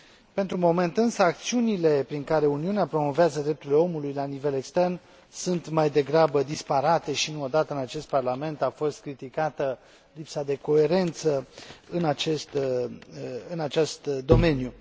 Pentru moment, însă, acțiunile prin care Uniunea promovează drepturile omului la nivel extern sunt mai degrabă disparate și nu o dată, în acest Parlament, a fost criticată lipsa de coerență în acest domeniu.